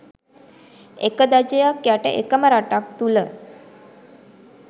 එක ධජයක් යට එකම රටක් තුළ